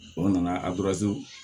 O nana a